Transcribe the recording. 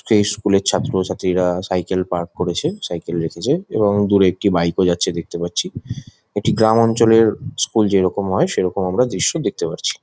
সেই স্কুল -এর ছাত্রছাত্রীরা সাইকেল পার্ক করেছে সাইকেল রেখেছে এবং দূরে একটি বাইক ও যাচ্ছে দেখতে পাচ্ছি। একটি গ্রামঞ্চলের স্কুল যেরকম হয় সেইরকম আমরা দৃশ্য দেখতে পারছি।